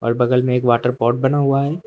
बगल में एक वाटर पाट बना हुआ है।